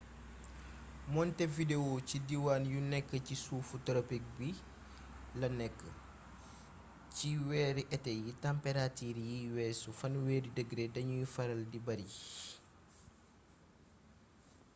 montevideo ci diiwaan yu nekk ci suuf toropik bi la nekk ci weeri été yi tamperatiir yuy weesu +30°ñc dañuy faral di bari